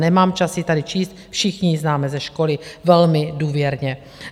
Nemám čas ji tady číst, všichni ji známe ze školy velmi důvěrně.